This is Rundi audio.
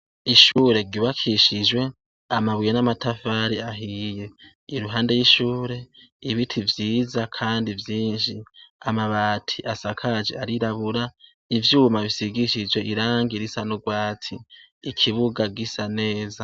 Ishure ryubakishijwe amabuye n'amatafari ahiye, iruhande y'ishure ibiti vyiza kandi vyinshi, amabati asakaje arirabura ,ivyuma bisigishije irangi risa n'urwatsi, ikibuga gisa neza.